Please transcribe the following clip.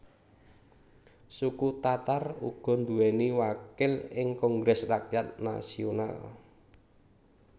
Suku Tatar uga nduwèni wakil ing Kongres Rakyat Nasional